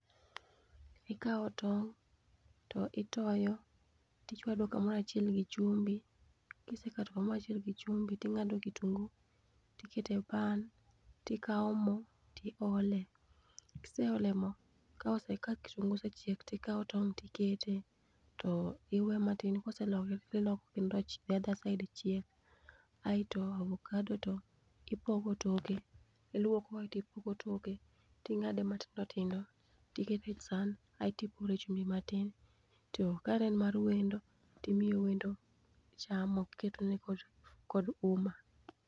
Ikawo tong' to itoyo, to ichwado ka moro achiel gi chumbi. kisechwado ka moro achiel gi chumbi to ing'ado kitungu ti iketo e pan to ikawo mo ti iole. Kiseolo moo ka kitungu osechiek ti ikawo tong' ti ikete ti iwe ma tin koselokre ti iloko kendo the other side chiek. Aisto avakado to ipoko toke, ilwoko aito ipoko toke, ti ing'ade ma tindo tindo ti iketo e san aito upore chumbi ma tin to ka ne en mar wendo ti imiyo wendo cham iketo ne kod uma.